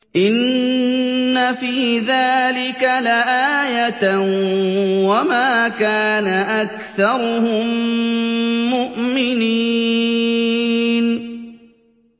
إِنَّ فِي ذَٰلِكَ لَآيَةً ۖ وَمَا كَانَ أَكْثَرُهُم مُّؤْمِنِينَ